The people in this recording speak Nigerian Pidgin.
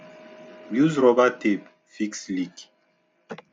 use rubber tape fix leak